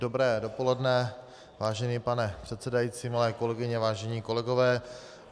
Dobré dopoledne, vážený pane předsedající, milé kolegyně, vážení kolegové.